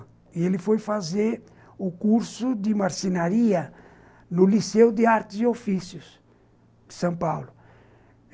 E ele foi fazer o curso de marcenaria no Liceu de Artes e Ofícios de São Paulo.